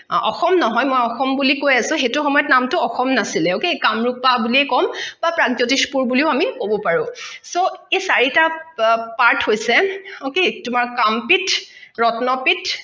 অ অসম নহয় মই অসম বুলি কৈ আছো সেইটো সময়ত নামটো অসম নাছিলে okay কামৰুপা বুলিয়ে কম বা প্ৰাগজ্যোতিষপুৰ বুলিও আমি কব পাৰো so এই চাৰিটা part হৈছে okay কাম পিঠ ৰত্ন পিঠ